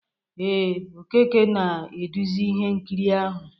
Ee, Okeke na-eduzi ihe nkiri ahụ